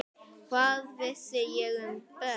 Hvað vissi ég um börn?